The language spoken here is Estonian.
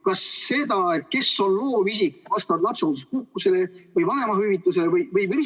Kas seda, kes on loovisik vastavalt lapsehoolduspuhkusele või vanemahüvitisele?